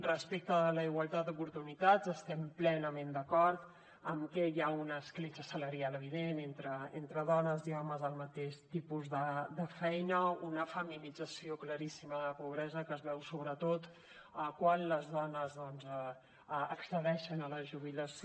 respecte de la igualtat d’oportunitats estem plenament d’acord amb que hi ha una escletxa salarial evident entre dones i homes al mateix tipus de feina una feminització claríssima de la pobresa que es veu sobretot quan les dones doncs accedeixen a la jubilació